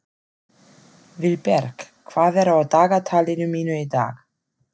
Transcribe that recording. Vilberg, hvað er á dagatalinu mínu í dag?